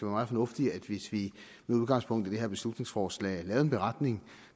meget fornuftigt hvis vi med udgangspunkt i det her beslutningsforslag lavede en beretning